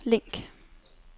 link